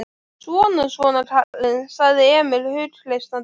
Svona, svona, kallinn, sagði Emil hughreystandi.